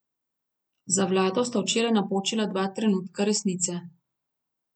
Za vlado sta včeraj napočila dva trenutka resnice.